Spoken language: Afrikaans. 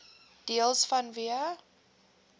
deels vanweë